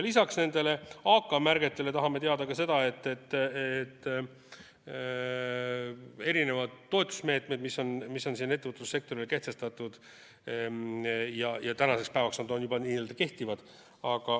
Lisaks AK-märgetele tahame teada ka toetusmeetmete kohta, mis on ettevõtlussektorile kehtestatud ja mis tänasel päeval juba kehtivad.